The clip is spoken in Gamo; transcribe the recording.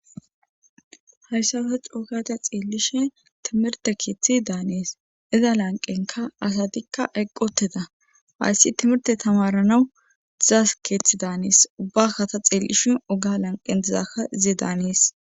Hayssarusa cookata xeellishe timirte kiithi daanees iza lanqenka asatikka eqqoteda hayssi timirte tamaranawu dizaas keeththi daanees ubbakata xiellishin oga lanqen dizaka zee daanees.